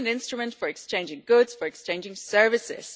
it is an instrument for exchanging goods, for exchanging services.